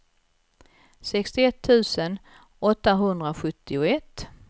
sextioett tusen åttahundrasjuttioett